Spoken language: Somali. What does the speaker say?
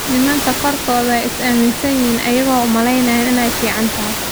Nimanka kaarkodha ayay isaaminsayihin ayago umaleyan inay ficantahy.